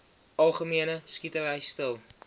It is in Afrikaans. algemene skietery stil